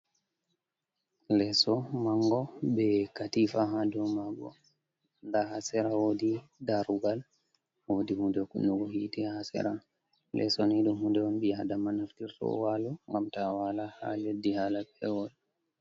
Leso mango be katifa hadomago nda ha sera wodi darogal wodii hunde kunnugo hite ha sera. Leso ni ɗum hunde on bi'adama naftirto walo ngam ta wala ha leddi hala pewol.